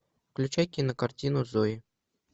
включай кинокартину зои